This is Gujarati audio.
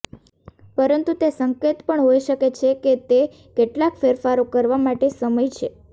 પરંતુ તે સંકેત પણ હોઈ શકે છે કે તે કેટલાક ફેરફારો કરવા માટે સમય છે